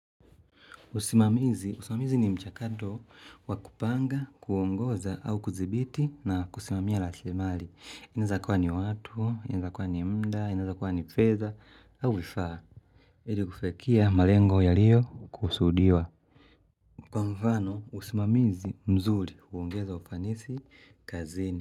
Usimamizi, usimamizi ni mchakato wa kupanga, kuongoza au kudhibiti na kusimamia rasili mali. Inaweza kuwa ni watu, inaweza kuwa ni mda, inaweza kuwa ni fedha au vifaa. Ili kufikia malengo yaliyo kusudiwa. Kwa mfano, usimamizi mzuri, huongeza ufanisi kazini.